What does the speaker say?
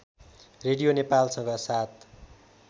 radio नेपालसँग ७